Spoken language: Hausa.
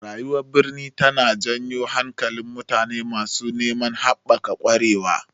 Rayuwar birni tana jan hankalin mutane masu neman haɓaka ƙwarewa.